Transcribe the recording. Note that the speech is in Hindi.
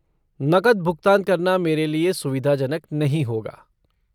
नकद भुगतान करना मेरे लिए सुविधाजनक नहीं होगा।